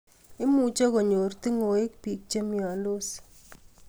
Imuche konyor ting'wek biik che myondos